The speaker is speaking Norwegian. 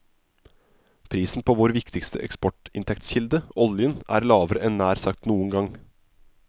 Prisen på vår viktigste eksportinntektskilde, oljen, er lavere enn nær sagt noen gang.